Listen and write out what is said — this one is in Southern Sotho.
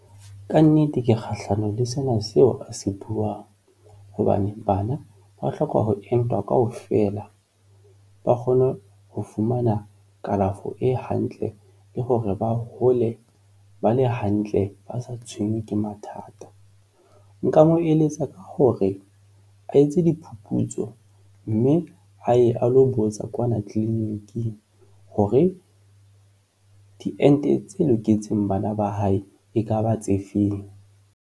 Ka nnete ke kgahlano le sena seo a se buang hobane bana ba hloka ho entwa kaofela, ba kgone ho fumana kalafo e hantle le hore ba hole ba le hantle ba sa tshwenywe ke mathata. Nka mo eletsa ka hore a etse diphuputso mme a ye a lo botsa kwana clinic-ing hore diente tse loketseng bana ba hae ekaba tse feng.